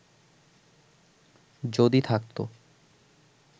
যদি থাকত